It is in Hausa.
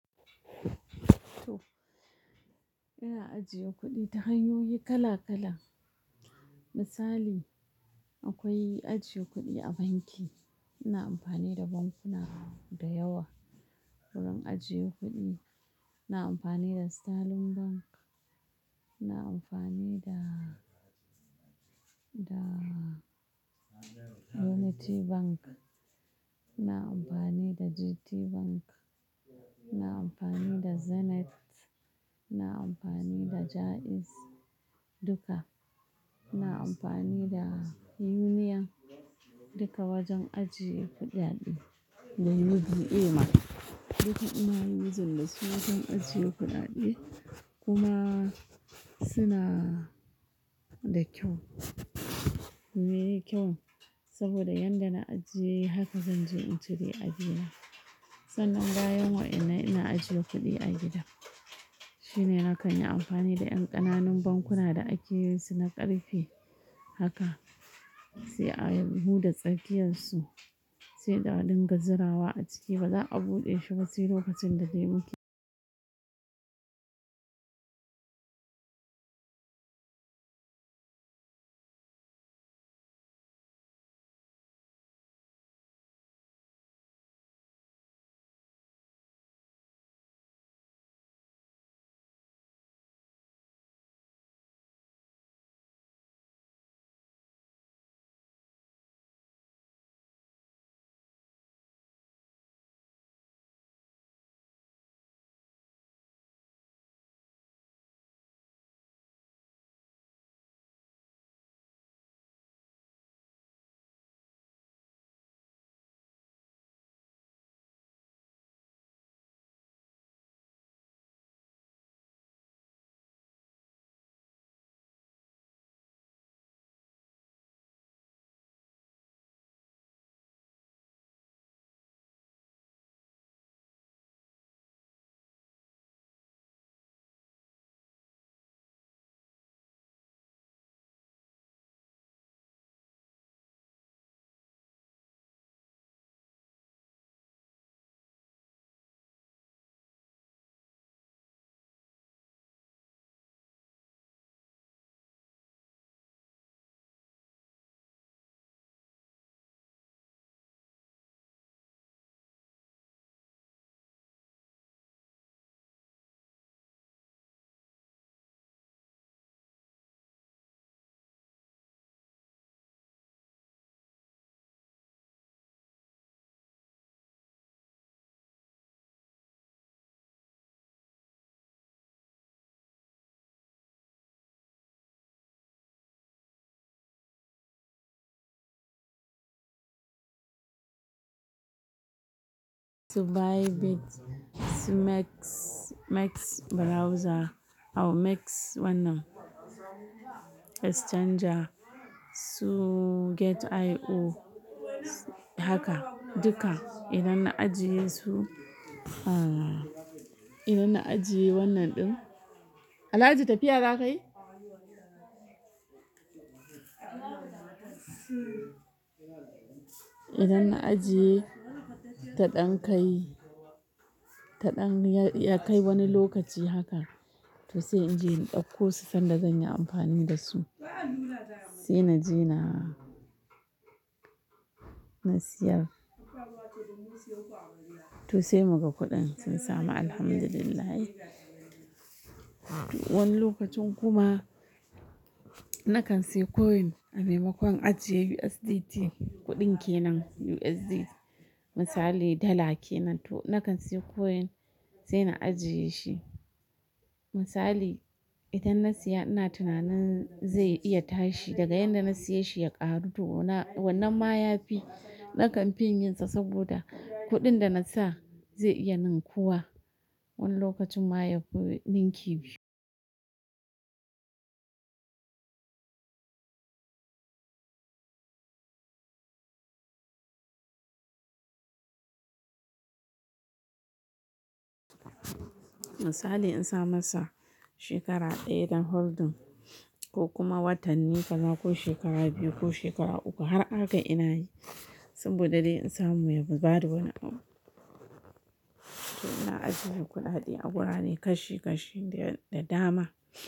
Toh, ina ajiye kuɗi ta hanyoyi kala-kala. Misali, akwai ajiye kuɗi a banki. Ina amfani da bankuna da yawa wurin ajiye kuɗi. Ina amfani da Sterling Bank, ina amfani da, da Unity Bank, ina amfani da GT Bank, ina amfani da Zenith, ina amfani da Jaiz duka, ina amfani da Union, duka wajen ajiye kuɗaɗe. Da UBA ma, duka ina using dasu wajen ajiye kuɗaɗe kuma suna da kyau. Me ye kyau? Saboda yanda na ajiye haka zan je in cire abina. Sannan bayan wa'inna ina ajiye kuɗi a gida. Shi ne na kan yi amfani da yan ƙananun bankuna da ake yi su na ƙarfe haka sai a huda tsakiyarsu sai a din ga zirawa a ciki ba za a buɗe shi ba sai lokacin da dai banki. Su Vybit, su Mex, Mex Browser ah Mex wannan exchanger, su Get IO haka duka idan na ajiye su, ah idan na ajiye wannan ɗin. Alhaji tafiya za ka yi? Idan na ajiye taɗan kai, taɗan ya kai wani lokaci haka to sai in je in ɗauko su sanda zan yi amfani da su. Sai na je na, na siyar. To sai muga kuɗin sun samu. Alhamdulillah. Wani lokacin kuma na kan siyo coin a mai makon ajiye USDT kuɗin kenan USD. Misali dala kenan to na kan siyo coin sai na ajiye shi. Misali idan na siya ina tunanin zai iya tashi daga yanda na siya shi ya ƙaru to wannan ma ya fi na kamfin yin sa saboda kuɗin da na sa zai iya ninkuwa wani lokacin ma ya fi ninki biyu. Misali in sa masa shekara ɗaya don holding ko kuma watanni kaza ko shekara biyu ko shekara uku har haka ina yi saboda dai in samu ya bada wani to ina ajiye kuɗaɗe a wurare kashi kashi da dama.